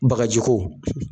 Bagaji ko